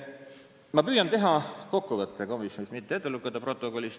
Ma püüan teha kokkuvõtte komisjoni tööst, mitte ei loe teile protokolli ette.